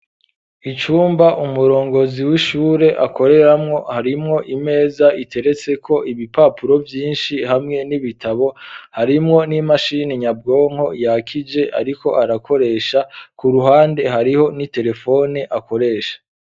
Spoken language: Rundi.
Icumba umurongozi w'ishure akoreramwo harimwo imeza iteretse ko ibipapuro vyinshi hamwe n'ibitabo harimwo n'imashini nyabwonko yakije, ariko arakoresha ku ruhande hariho n'itelefoni akoresha.